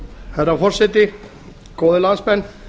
herra forseti góðir landsmenn